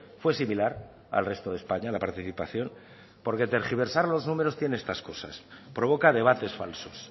fue similar al resto de españa la participación porque tergiversar los números tiene estas cosas provoca debates falsos